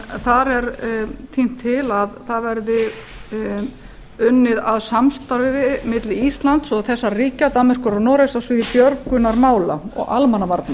en þar er tínt til að það verði unnið að samstarfi milli íslands og þessara ríkja danmerkur og noregs á sviði björgunarmála og almannavarna